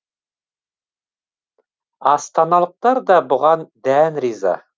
астаналықтар да бұған дән риза